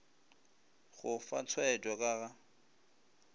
go fa tshwaetšo ka ga